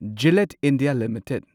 Gillette India limited